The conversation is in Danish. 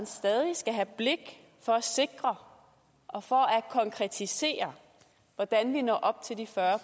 stadig skal have blik for at sikre og for at konkretisere hvordan vi når op til de fyrre